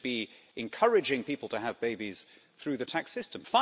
that we should be encouraging people to have babies through the tax system.